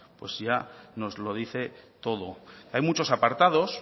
pues ya nos lo dice todo hay muchos apartados